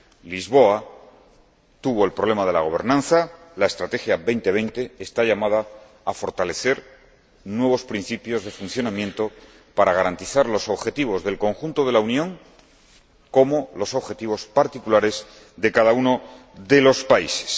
Lisboa tuvo el problema de la gobernanza, la Estrategia Europa 2020 está llamada a fortalecer nuevos principios de funcionamiento para garantizar tanto los objetivos del conjunto de la Unión como los objetivos particulares de cada uno de los países.